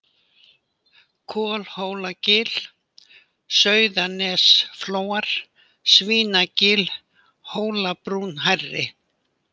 Kolhólagil, Sauðanesflóar, Svínagil, Hólabrún hærri